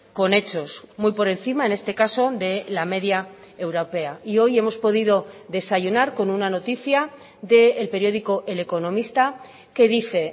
con hechos muy por encima en este caso de la media europea y hoy hemos podido desayunar con una noticia del periódico el economista que dice